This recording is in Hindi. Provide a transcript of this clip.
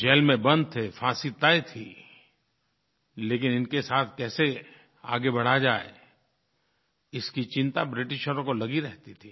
जेल में बंद थे फांसी तय थी लेकिन इनके साथ कैसे आगे बढ़ा जाये इसकी चिंता ब्रिटिशों को लगी रहती थी